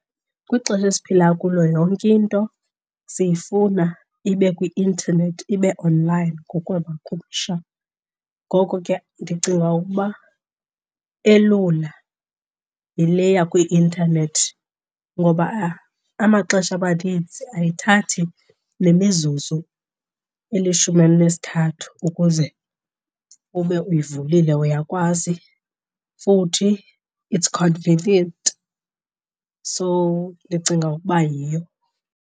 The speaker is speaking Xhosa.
Kwixesha esiphila kulo yonke into siyifuna ibe kwi-intanethi, ibe online ngokwamakhumsha. Ngoko ke ndicinga ukuba elula yile yakwi-intanethi ngoba amaxesha amaninzi ayithathi nemizuzu elishumi elinesithathu ukuze ube uyivulile uyakwazi. Futhi it's convenient, so ndicinga ukuba yiyo.